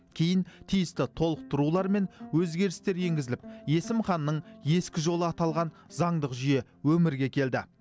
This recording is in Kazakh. кейін тиісті толықтырулар мен өзгерістер енгізіліп есім ханның ескі жолы аталған заңдық жүйе өмірге келді